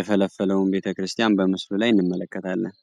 የፈለፈለውን ቤተክርስቲያን በምስሉ ላይ እንመለከታለን።